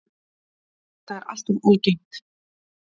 Þetta er alltof algengt.